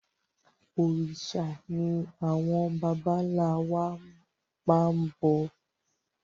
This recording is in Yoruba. Òrìṣà ni àwọn bàbà ńlá wa máa ń bọ